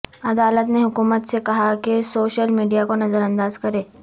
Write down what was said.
عدالت نے حکومت سے کہاکہ سوشیل میڈیاکو نظر انداز کریں